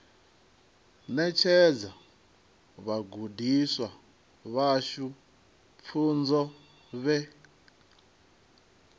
ṋetshedza vhagudiswa vhashu pfunzo vhe